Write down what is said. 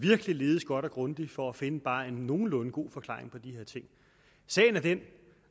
virkelig ledes godt og grundigt for at finde en bare nogenlunde god forklaring på de her ting sagen er den at